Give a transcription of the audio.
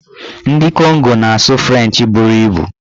Ndị Kongo na-asụ frenchị bụrụ ibu.